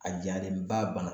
A jalenba